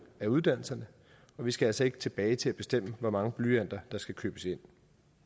af uddannelserne og vi skal altså ikke tilbage til at bestemme hvor mange blyanter der skal købes ind